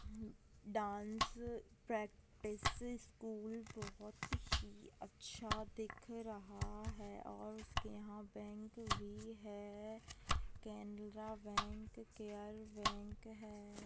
Dance practice school बहुत ही अच्छा दिख रहा है और उसके यहाँ बैंक भी है केनरा बैंक केयर बैंक है।